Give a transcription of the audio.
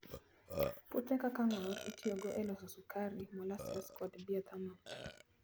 Puothe kaka ng'or itiyogo e loso sukari, molasses, kod bioethanol.